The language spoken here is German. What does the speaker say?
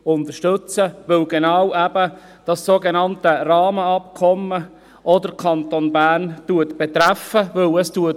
Dies, weil das sogenannte Rahmenabkommen auch den Kanton Bern betrifft;